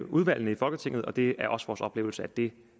udvalgene i folketinget og det er også vores oplevelse at det